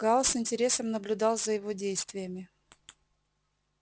гаал с интересом наблюдал за его действиями